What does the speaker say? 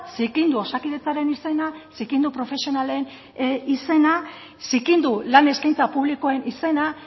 zikindu osakidetzaren izena zikindu profesionalen izena zikindu lan eskaintza publikoen izena